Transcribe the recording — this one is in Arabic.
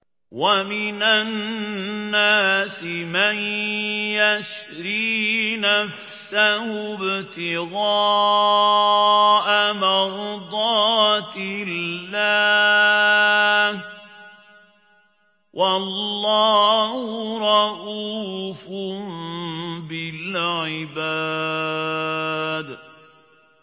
وَمِنَ النَّاسِ مَن يَشْرِي نَفْسَهُ ابْتِغَاءَ مَرْضَاتِ اللَّهِ ۗ وَاللَّهُ رَءُوفٌ بِالْعِبَادِ